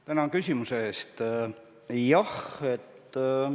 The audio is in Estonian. Tänan küsimuse eest!